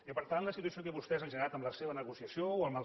i per tant la situació que vostès han generat amb la seva negociació o amb els